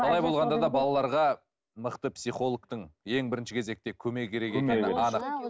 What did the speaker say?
қалай болғанда да балаларға мықты психологтың ең бірінші кезекте көмегі керек екені анық